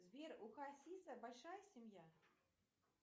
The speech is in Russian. сбер у хасиса большая семья